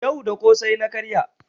Yau da ƙosai na karya.